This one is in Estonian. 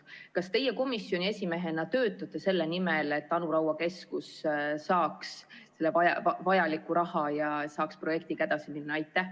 Kas teie komisjoni esimehena töötate selle nimel, et Anu Raua keskus saaks vajaliku raha ja saaks projektiga edasi minna?